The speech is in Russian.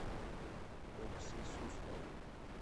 окси суслову